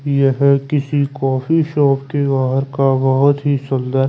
ह किसी coffee shop के बाहर का बहोत ही सुंदर--